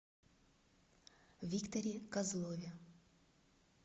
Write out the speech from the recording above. викторе козлове